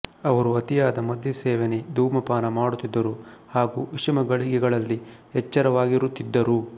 ಅವರು ಅತಿಯಾದ ಮದ್ಯಸೇವನೆ ಧೂಮಪಾನ ಮಾಡುತ್ತಿದ್ದರು ಹಾಗೂ ವಿಷಮ ಗಳಿಗೆಗಳಲ್ಲಿ ಎಚ್ಚರವಾಗಿರುತ್ತಿದ್ದರು